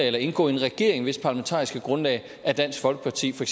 eller indgå i en regering hvis parlamentariske grundlag er dansk folkeparti for